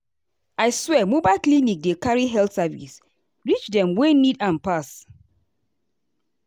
i swear mobile clinic dey carry health service reach dem wey need am pass.